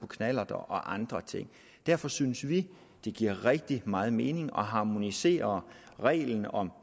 knallerter og andre ting derfor synes vi det giver rigtig meget mening at harmonisere reglen om